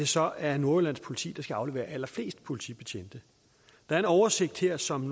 så er nordjyllands politi der skal aflevere allerflest politibetjente der er en oversigt her som